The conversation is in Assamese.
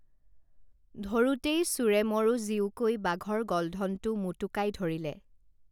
ধৰোতেই চোৰে মৰোঁ জীওঁকৈ বাঘৰ গলধনটো মোটোকাই ধৰিলে